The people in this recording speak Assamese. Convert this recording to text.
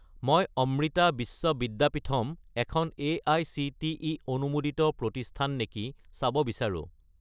মই অমৃতা বিশ্ব বিদ্যাপীথম এখন এআইচিটিই অনুমোদিত প্ৰতিষ্ঠান নেকি চাব বিচাৰোঁ।